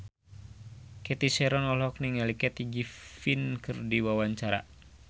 Cathy Sharon olohok ningali Kathy Griffin keur diwawancara